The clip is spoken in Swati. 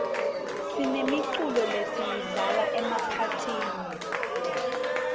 sinemiculo lesiyidlala emaphathini